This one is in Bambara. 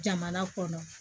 Jamana kɔnɔ